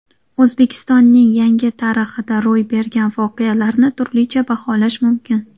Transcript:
O‘zbekistonning yangi tarixida ro‘y bergan voqealarni turlicha baholash mumkin.